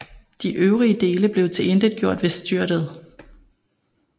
De øvrige dele blev tilintetgjort ved styrtet